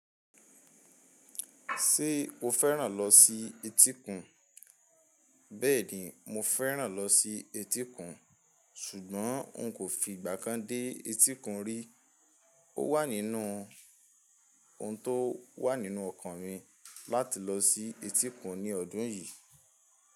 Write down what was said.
Ṣé o féràn lọ sí etíkun? Bẹ́ẹ̀ni, mo féràn lọ sí etíkun, ṣùgbọ́n n kò fi ìgbà kan dé etíkun rí. Ó wà nínú ohun tó wà nínú ọkàn mi láti lọ sí etíkun ní ọdún yìí.